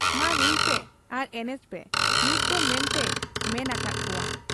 ᱢᱟ ᱨᱩᱭᱯᱮ ᱟᱨ ᱮᱱᱮᱡᱯᱮ ᱱᱤᱛᱫᱚ ᱢᱮᱱᱛᱮᱭᱮ ᱢᱮᱱ ᱟᱠᱟᱦᱟᱫ ᱠᱚᱣᱟ ᱾